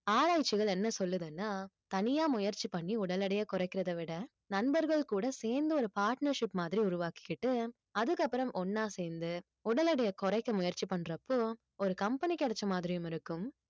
ஆராய்ச்சிகள் என்ன சொல்லுதுன்னா தனியா முயற்சி பண்ணி உடல் எடையை குறைக்கிறதை விட நண்பர்கள் கூட சேர்ந்து ஒரு partnership மாதிரி உருவாக்கிக்கிட்டு அதுக்கப்புறம் ஒண்ணா சேர்ந்து உடல் எடையை குறைக்க முயற்சி பண்றப்போ ஒரு company கிடைச்ச மாதிரியும் இருக்கும்